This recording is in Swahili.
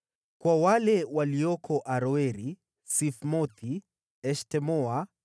kwa wale walioko Aroeri, Sifmothi, Eshtemoa